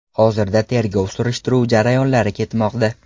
Hozirda tergov-surishtiruv jarayonlari ketmoqda.